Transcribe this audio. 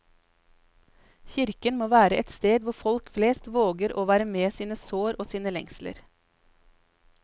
Kirken må være et sted hvor folk flest våger å være med sine sår og sine lengsler.